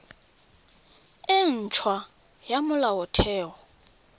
e nt hwa ya molaotheo